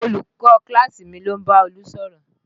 Olùkọ́ kíláàsì mi ló ń bá Olú sọ̀rọ̀